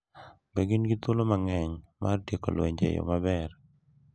Be gin gi thuolo mang’eny mar tieko lwenje e yo maber,